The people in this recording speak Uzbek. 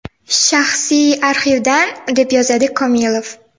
Shaxsiy arxivdan”, deb yozadi Komilov.